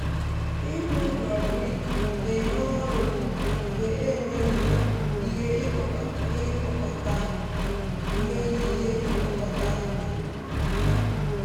ịrụ ụlọ brik na-enye ọrụ mgbe e nweghị ihe ịkpọkọta nweghị ihe ịkpọkọta n’ugbo.